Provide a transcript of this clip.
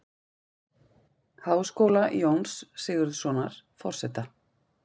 Háskóla, Jóns Sigurðssonar, forseta.